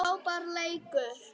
Frábær leikur.